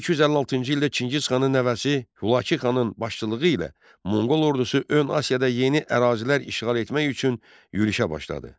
1256-cı ildə Çingiz xanın nəvəsi Hülakü xanın başçılığı ilə monqol ordusu ön Asiyada yeni ərazilər işğal etmək üçün yürüşə başladı.